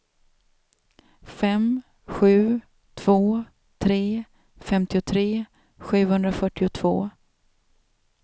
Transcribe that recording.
fem sju två tre femtiotre sjuhundrafyrtiotvå